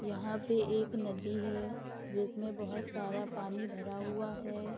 यहाँ पे एक नदी है जिसमें बहुत सारा पानी भरा हुआ है।